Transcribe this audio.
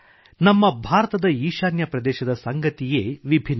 ನಮ್ಮ ಭಾರತದ ಈಶಾನ್ಯ ಪ್ರದೇಶದ ಸಂಗತಿಯೇ ವಿಭಿನ್ನ